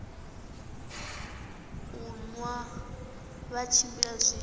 u nwa vha tshimbila zwi